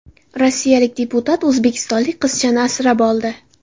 Rossiyalik deputat o‘zbekistonlik qizchani asrab oldi .